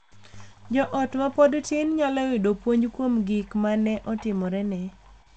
Jo ot ma pod tin nyalo yudo puonj kuom gik ma ne otimorene .